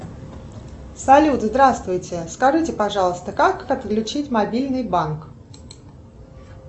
салют здравствуйте скажите пожалуйста как подключить мобильный банк